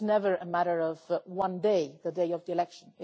It's never a matter of one day, the day of the election